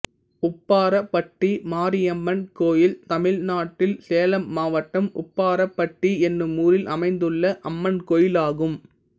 உப்பாரப்பட்டி மாரியம்மன் கோயில் தமிழ்நாட்டில் சேலம் மாவட்டம் உப்பாரப்பட்டி என்னும் ஊரில் அமைந்துள்ள அம்மன் கோயிலாகும்